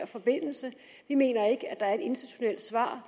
forbindelse vi mener ikke at der er et institutionelt svar